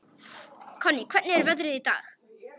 Konný, hvernig er veðrið í dag?